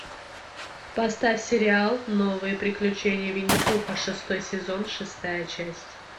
поставь сериал новые приключения винни пуха шестой сезон шестая часть